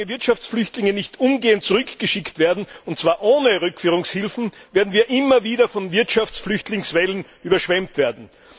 Solange Wirtschaftsflüchtlinge nicht umgehend zurückgeschickt werden, und zwar ohne Rückführungshilfen, werden wir immer wieder von Wirtschaftsflüchtlingswellen überschwemmt werden.